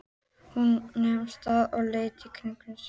Hún nam staðar og leit í kringum sig.